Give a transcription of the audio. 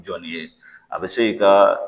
Jɔn ni ye a bɛ se i ka